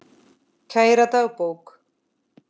Kæra dagbók!